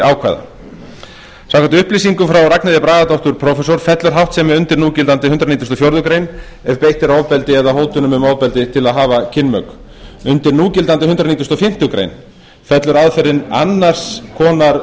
ákvæða samkvæmt upplýsingum frá ragnheiði bragadóttur prófessor fellur háttsemi undir núgildandi hundrað nítugasta og fjórðu grein ef beitt er ofbeldi eða hótunum um ofbeldi til að hafa kynmök undir núgildandi hundrað nítugasta og fimmtu grein fellur aðferðin annars konar